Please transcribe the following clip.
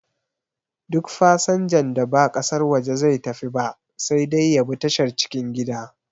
Duk fasanjan da ba ƙasar waje zai tafi ba sai dai ya bi tashar cikin gida